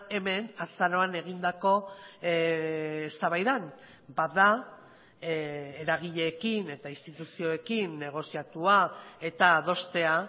hemen azaroan egindako eztabaidan bat da eragileekin eta instituzioekin negoziatua eta adostea